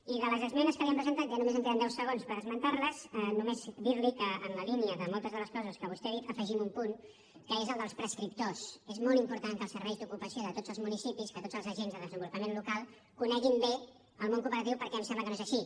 i de les esmenes que li hem presentat ja només em queden deu segons per esmentar les només dir li que en la línia de moltes de les coses que vostè ha dit hi afegim un punt que és el dels prescriptors és molt important que els serveis d’ocupació de tots els municipis que tots els agents de desenvolupament local coneguin bé el món cooperatiu perquè em sembla que no és així